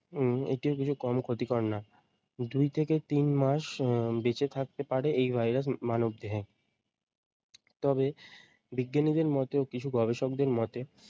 উম এটিও কিছু কম ক্ষতিকর না। দুই থেকে তিন মাস উম বেঁচে থাকতে পারে এই ভাইরাস মানব দেহে তবে বিজ্ঞানী দের মতেও কিছু গবেষকদের মতে